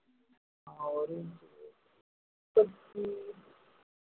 ஆஹ் ஒரு முப்பத்தி